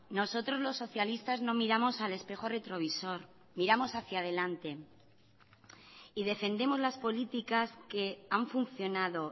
nosotros los socialistas no miramos al espejo retrovisor miramos hacia adelante y defendemos las políticas que han funcionado